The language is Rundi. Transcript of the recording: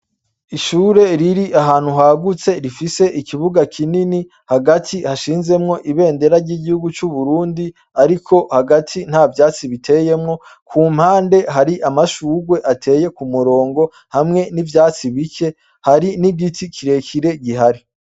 Ishure riri ahantu hagutse rifise ikibuga kinini hagati hashinzemwo ibendera ry'igihugu c'uburundi, ariko hagati nta vyatsi biteyemwo ku mpande hari amashurwe ateye ku murongo hamwe n'ivyatsi bike hari n'igiti kirekire gihari.